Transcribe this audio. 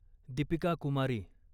Deepika Kumari